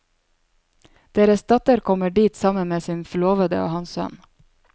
Deres datter kommer dit sammen med sin forlovede og hans sønn.